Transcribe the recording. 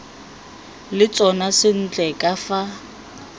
le tsona sentle ka fa